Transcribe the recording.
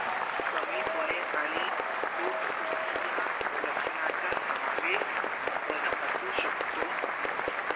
कमी होने आणि पोट दुखी या लक्षणाचा समावेश न अशु शकत